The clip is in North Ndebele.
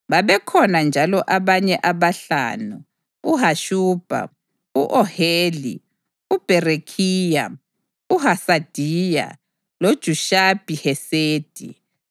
Babekhona njalo abanye abahlanu: uHashubha, u-Oheli, uBherekhiya, uHasadiya, loJushabi-Hesedi.